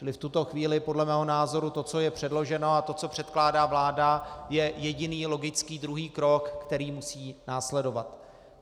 Čili v tuto chvíli podle mého názoru to, co je předloženo, a to, co předkládá vláda, je jediný logický druhý krok, který musí následovat.